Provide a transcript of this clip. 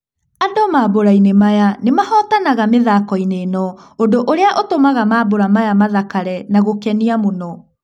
Andũ mambũrainĩ maya nĩmahotanaga mĩthakoinĩ ĩno ũndũ ũrĩa ũtũmaga mambũra maya mathakare na gũkenia mũno.